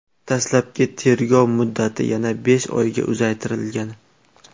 Dastlabki tergov muddati yana besh oyga uzaytirilgan.